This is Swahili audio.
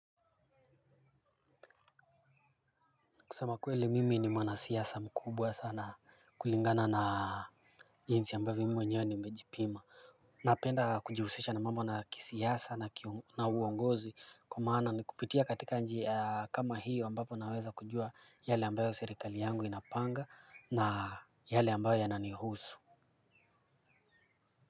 Kusema kweli mimi ni mwana siasa mkubwa sana kulingana na jinsi ambayo mi mwenyewe nimejipima napenda kujihusisha na mambo na kisiasa na uongozi kwa maana ni kupitia katika njia kama hiyo ambapo naweza kujua yale ambayo serikali yangu inapanga na yale ambayo yananihusu.